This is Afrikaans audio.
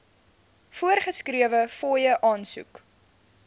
voorgeskrewe fooie aansoek